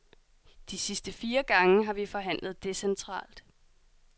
De sidste fire gange har vi forhandlet decentralt.